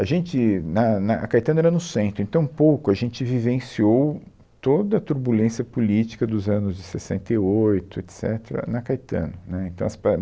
A gente, na na a Caetano era no centro, então um pouco a gente vivenciou toda a turbulência política dos anos de sessenta e oito, et cetera, na Caetano, né, então as